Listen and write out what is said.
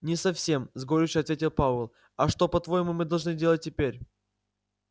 не совсем с горечью ответил пауэлл а что по-твоему мы должны делать теперь